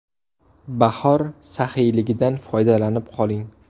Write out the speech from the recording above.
Bahor saxiyligidan foydalanib qoling!